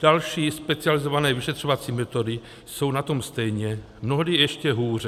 Další specializované vyšetřovací metody jsou na tom stejně, mnohdy ještě hůře.